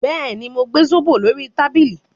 Bẹ́ẹ̀ ni, mo gbẹ zobo lórí tábìlì